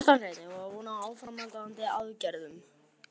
Kjartan Hreinn: Eigum við von á áframhaldandi aðgerðum?